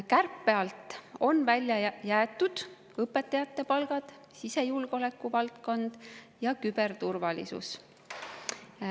Kärpe alt on välja jäetud õpetajate palgad, sisejulgeoleku valdkond ja küberturvalisus.